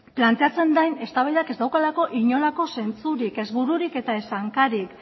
planteatzen den eztabaidak ez daukalako inolako zentzurik ez bururik eta ez hankarik